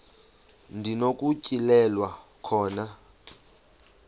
ndi nokutyhilelwa khona